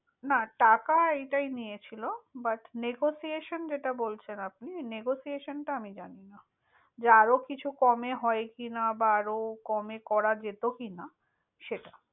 না টাকা এইটাই নিয়েছিল। But negotiation যেটা বলছেন আপনি, negotiation টা আমি জানিনা। যে আরো কিছু কমে হয় কিনা, বা আরো কমে করা যেত কিনা সেটা।